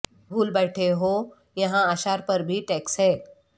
بھول بیٹھے ہو یہاں اشعار پر بھی ٹیکس ہے